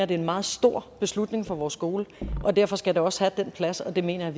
det er en meget stor beslutning for vores skole og derfor skal det også have den plads og det mener